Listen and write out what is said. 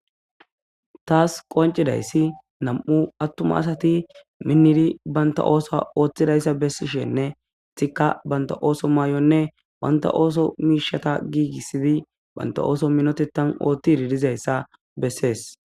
Tas qoncidays nam'u atuma asati minidi banta osa othidaysa besishenne estika banta oswa mayuwanne banta oso mishata gigisdi banta oso minotetan otidi dizaysa beses